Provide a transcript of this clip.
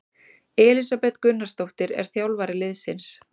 Elísabet Gunnarsdóttir er þjálfari liðsins.